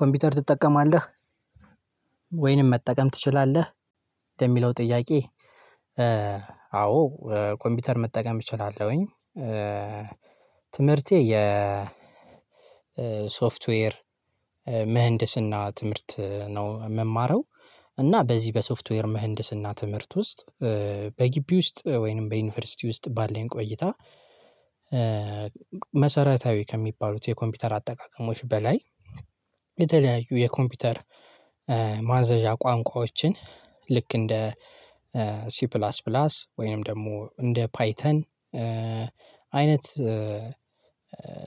ኮምፒውተር ትጠቀማለህ ወይንም መጠቀም ትችላለህ ለሚለው ጥያቄ? አዎ ኮምፒውተር መጠቀም እችላለሁኝ። ትምህርቴ የሶፍትዌር ምህንድስና ትምህርት ነው የምማረው። እና በዚህ በሶፍትዌር ምህንድስና ትምህርት ውስጥ በግቢ ውስጥ ወይንም በዩኒቨርሲቲ ውስጥ ባለን ቆይታ መሰረታዊ ከሚባሉት የኮምፒውተር አጠቃቀሞች በላይ የተለያዩ የኮምፒውተር ማዘዣ ቋንቋዎችን ልክ እንደ ሲ ፕላስ ፕላስ ወይንም ደግሞ እንደ ፓይተን አይነት